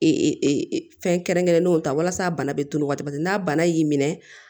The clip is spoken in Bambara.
fɛn kɛrɛnkɛrɛnnenw ta walasa bana be to o waati n'a bana y'i minɛ